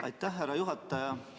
Aitäh, härra juhataja!